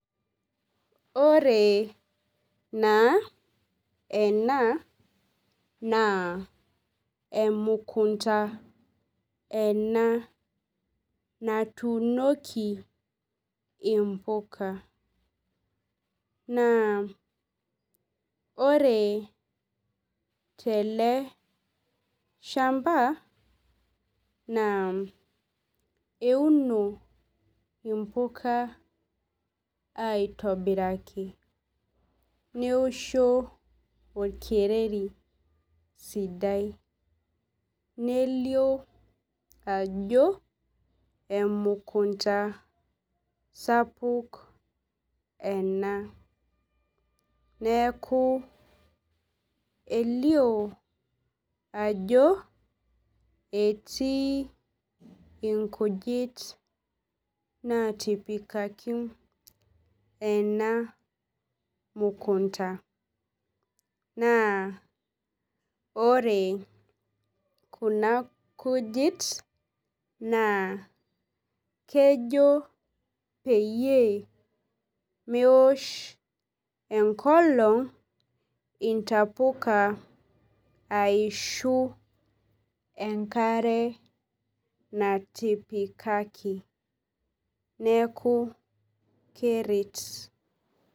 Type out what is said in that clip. Ore naa ena na emukunda ena natuunoki impuka na ore teleshamba naa euno impuka aitobiraki neosho oekereri sidai nelio ajo emukunda sapuk ena neaku elio ajo etii ingujit natipikaki ena mukunda naa ore kuna kujit na kejl peyie meosh enkolong intapuka aishu enkare natipikaki neaku keret.